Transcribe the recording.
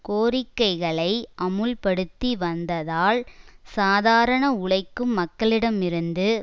கோரிக்கைகளை அமுல்படுத்தி வந்ததால் சாதாரண உழைக்கும் மக்களிடமிருந்து